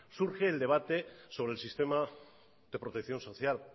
surge el debate sobre el sistema de protección social